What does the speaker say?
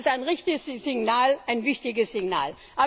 Das ist ein richtiges Signal, ein wichtiges Signal.